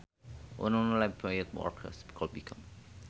Unemployed workers could become a threat to social stability